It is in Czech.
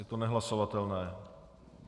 Je to nehlasovatelné.